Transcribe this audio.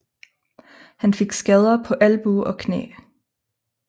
Han fik skader på albue og knæ